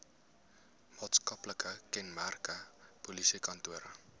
maatskaplike kenmerke polisiekantore